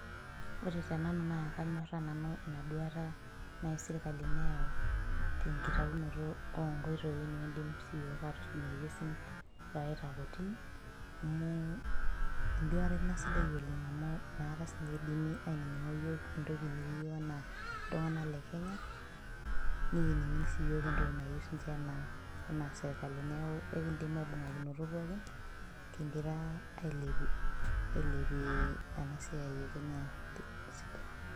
ore tenanu naa kanyoraa inaduta naiserikali neyau tenkitaunoto oo inkoitoi naaji nikidim siyiok atorinyie ilkesin amu eduta sidai ina amu inakata naaji idimi ainingo siiniche iyiok enaa iltunganak lekenya, nikining' siyiok enaa entoki nayiou niche enaa serikali, ekidim aibungakinoto pooki kigira ailepie enasiai esirikali.